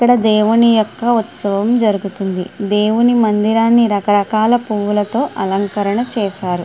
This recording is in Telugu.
ఇక్కడ దేవుని యొక్క ఉత్సవం జరుగుతుంది దేవుని మందిరాన్ని రకరకాల పువ్వులతో అలంకరణ చేసారు.